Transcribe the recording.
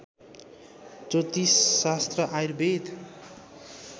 ज्योतिषशास्त्र Ayurveda